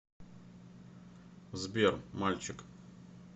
сбер мальчик